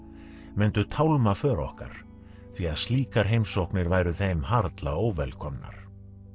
myndu tálma för okkar því að slíkar heimsóknir væru þeim harla óvelkomnar